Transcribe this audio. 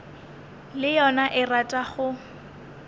le yona e rata go